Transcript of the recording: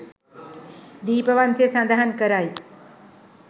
දීපවංසය සඳහන් කරයි.